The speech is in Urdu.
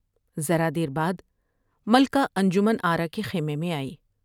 ذرا دیر بعد ملکہ انجمن آرا کے خیمے میں آئی ۔